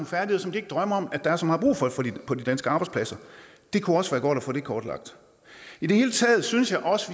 færdigheder som de ikke drømmer om der er så meget brug for på de danske arbejdspladser det kunne også være godt at få det kortlagt i det hele taget synes jeg også